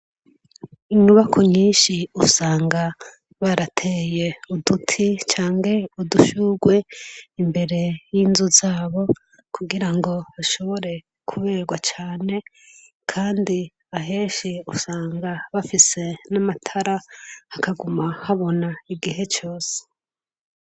Inyubakwa nyinshi usanga barateye uduti canke udushurwe imbere yinzu zabo kugirango kugirango hashobore kuberwa cane kandi ahenshi cane usanga bafise namatara hakaguma habona igihe cose